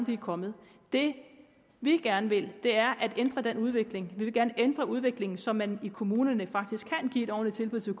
vi er kommet det vi gerne vil er at ændre den udvikling vi vil gerne ændre udviklingen så man i kommunerne faktisk kan give et ordentligt tilbud til